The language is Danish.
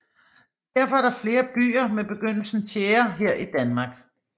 Derfor er der flere byer med begyndelsen tjære her i Danmark